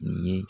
Nin ye